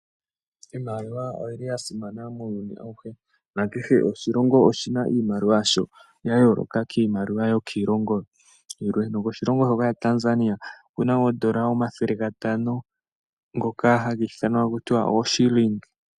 Iiimaliwa oyili ya simana muuyuni awuhe nakehe oshilongo, oshi na iimaliwa yasho ya yooloka kiimaliwa yokiiilongo yilwe, nokoshilongo shoka shaTanzania oku na woo oodola omathele gatano ngoka haku ithanwa ta ku tiwa oo shilling.